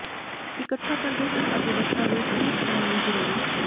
ਇਕੱਠਾ ਕਰਦੇ ਹਨ ਅਤੇ ਦਸਤਾਵੇਜ਼ ਪੇਸ਼ ਕਰਨ ਲਈ ਜ਼ਰੂਰੀ